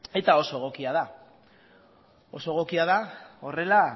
eta oso egokia da oso egokia da horrela